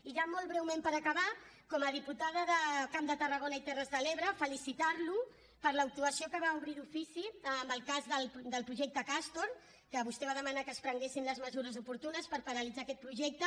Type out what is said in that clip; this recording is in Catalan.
i ja molt breument per acabar com a diputada de camp de tarragona i terres de l’ebre felicitarlo per l’actuació que va obrir d’ofici en el cas del projecte castor en què vostè va demanar que es prenguessin les mesures oportunes per paralitzar aquest projecte